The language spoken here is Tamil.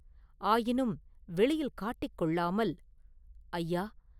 ஆயினும் வெளியில் காட்டிக் கொள்ளாமல், “ஐயா!